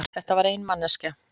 Þetta var ein manneskja.